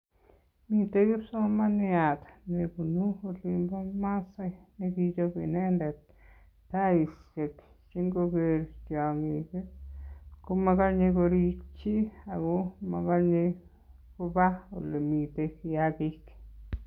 Mite kipsomaniat nebunu olin ba maasai nekichop inendet taisiek che ngoker tiong'ik, komakanye korikchi ago amakanye koba ole mitei kiyagik.